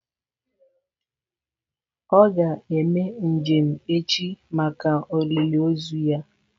Ọ ga-eme njem echi maka olili ozu ya.